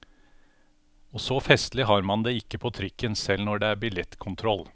Og så festlig har man det ikke på trikken, selv når det er billettkontroll.